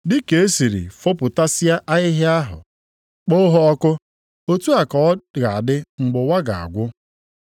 “Dị ka e siri fopụtasịa ahịhịa ahụ kpọọ ha ọkụ, otu a ka ọ ga-adị mgbe ụwa ga-agwụ.